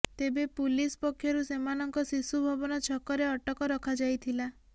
ତେବେ ପୁଲିସ ପକ୍ଷରୁ ସେମାନଙ୍କ ଶିଶୁ ଭବନ ଛକରେ ଅଟକ ରଖାଯାଇଥିଲା